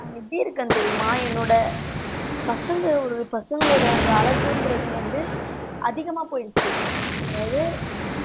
நான் எப்படி இருக்கேன் தெரியுமா என்னோட பசங்க ஒரு பசங்களோட அந்த அழகுன்றதே வந்து அதிகமா போயிடுச்சு. அதாவது,